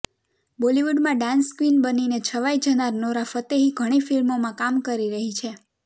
બોલિવૂડમાં dance queen બનીને છવાઈ જનાર નોરા ફતેહી ઘણી ફિલ્મોમાં કામ કરી રહી છે